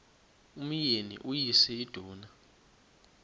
umyeni uyise iduna